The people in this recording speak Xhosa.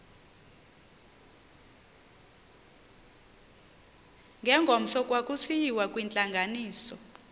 ngengomso kwakusiyiwa kwintlanganiso